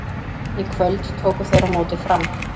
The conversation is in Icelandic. Í kvöld tóku þeir á móti Fram.